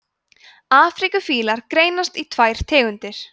afríkufílar greinast í tvær tegundir